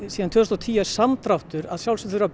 síðan tvö þúsund og tíu er samdráttur að sjálfsögðu þurfum